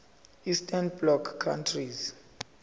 eastern bloc countries